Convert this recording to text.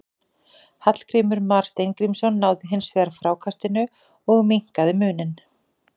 Hallgrímur Mar Steingrímsson náði hins vegar frákastinu og minnkaði muninn.